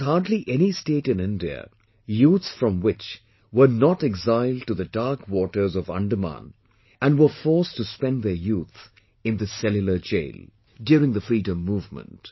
There was hardly any state in India youths from which were not exiled to the dark waters of Andamans and were forced to spend their youth in this Cellular Jail during the freedom movement